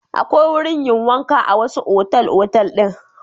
Akwai wurin yin wanka a wasu otal-otal din.